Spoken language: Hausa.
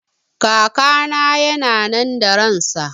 Kakana yana nan da ransa